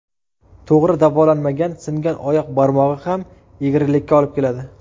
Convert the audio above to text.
To‘g‘ri davolanmagan singan oyoq barmog‘i ham egrilikka olib keladi.